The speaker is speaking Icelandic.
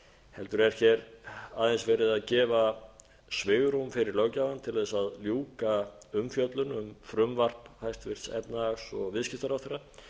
heldur er hér aðeins verið að gefa svigrúm fyrir löggjafann til þess að ljúka umfjöllun um frumvarp hæstvirts efnahags og viðskiptaráðherra